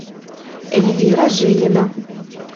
эльвира жилина